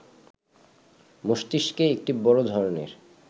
মস্তিষ্কে একটি বড় ধরনের